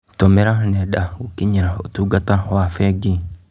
Tũmĩra nenda gũkinyĩra ũtungata wa bengi.